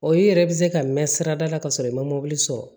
O i yɛrɛ be se ka mɛn sirada la ka sɔrɔ i ma mɔbili sɔrɔ